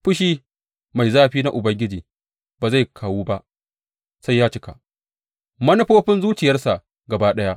Fushi mai zafi na Ubangiji ba zai kawu ba sai ya cika manufofin zuciyarsa gaba ɗaya.